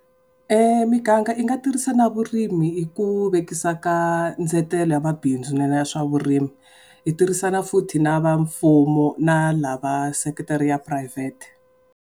Miganga yi nga tirhisa na vurimi hi ku vekisa ka ndzetelo ya mabinzu swa vurimi. Yi tirhisana futhi na va mfumo na lava vaseketeri ya private.